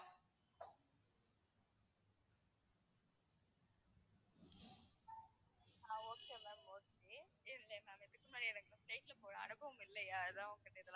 ஆஹ் okay ma'am okay இல்லை ma'am இதுக்கு முன்னாடி எனக்கு flight ல போன அனுபவம் இல்லையா அதான் உங்ககிட்ட இதெல்லாம்,